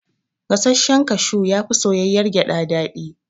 Gasashshen kashu yafi soyayyar gyada daɗi